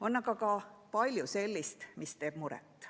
On aga ka palju sellist, mis teeb muret.